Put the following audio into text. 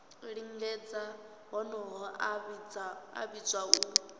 lingedza honoho a vhidzwa u